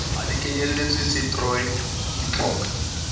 ha di kenyeletse setroi ditlhoka